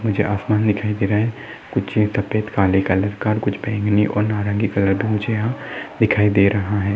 मुझे आसमान दिखाई दे रहा हैं कुछ सफेद काले कलर का कुछ बैंगनी और नारंगी कलर के मुझे यहाँ दिखाई दे रहा है।